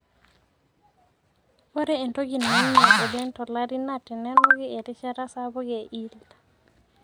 ore entoki naing'ial oleng to lari naa tenenuki erishata sapuk e yield